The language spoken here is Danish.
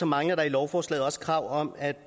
mangler der i lovforslaget også krav om at